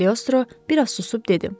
Kaliostro bir az susub dedi.